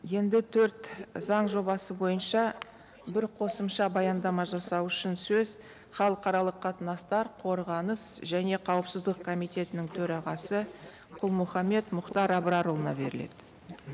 енді төрт заң жобасы бойынша бір қосымша баяндама жасау үшін сөз халықаралық қатынастар қорғаныс және қауіпсіздік комитетітінің төрағасы құл мұхаммед мұхтар абрарұлына беріледі